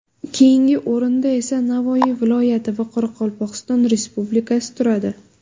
Keyingi o‘rinda esa Navoiy viloyati va Qoraqalpog‘iston Respublikasi turadi.